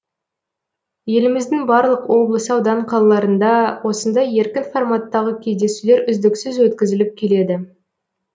еліміздің барлық облыс аудан қалаларында осындай еркін форматтағы кездесулер үздіксіз өткізіліп келеді